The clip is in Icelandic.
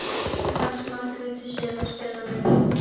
Hvernig fannst Margréti Sif að spila leikinn?